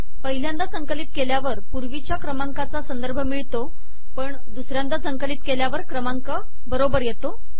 पहिल्यांदा संकलित केल्यावर पूर्वीच्या क्रमांकाचा संदर्भ मिळतो पण दुसऱ्यांदा संकलित केल्यावर क्रमांक बरोबर होतो